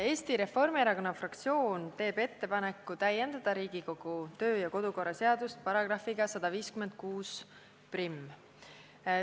Eesti Reformierakonna fraktsioon teeb ettepaneku täiendada Riigikogu töö- ja kodukorra seadust §-ga 1561.